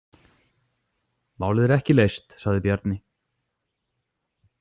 Málið er ekki leyst, sagði Bjarni.